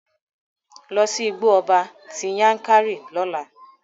Lọ sí Igbó ọba ti Yankari lọ́la!